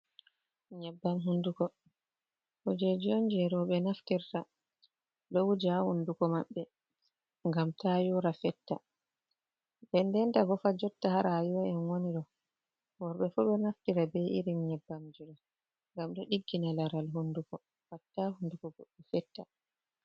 Nyebbam hunduko kujeji on je roubye naftirta do wuja ha huundukô maɓɓe gam ta yôra fetta. Ndendanta bofa jotta ha rayiwa en woni ɗo worbe fu be naftira be irin nyebbam jiɗo gam do diggina laral hunduko gam ta hunduko bo fetta.